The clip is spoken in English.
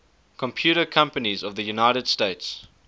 computer companies of the united states